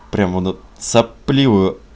прямо над сопливою